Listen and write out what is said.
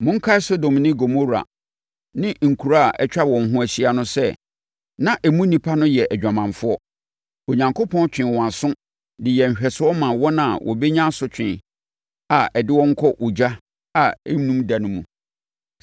Monkae Sodom ne Gomora ne nkuro a na atwa wɔn ho ahyia no sɛ, na emu nnipa no yɛ adwamanfoɔ. Onyankopɔn twee wɔn aso de yɛɛ nhwɛsoɔ maa wɔn a wɔbɛnya asotwe a ɛde wɔn kɔ ogya a ɛnnum da no mu.